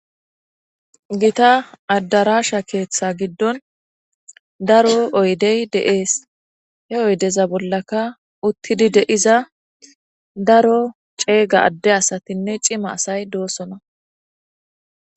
Gita adarsha keetha gidoni daro oydeti de'esi, he oydeza bollaka utidi de'iza daro cega ade asatinne cima asayi dosona,